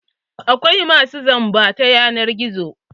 Akwai masu zamba na yanar gizo.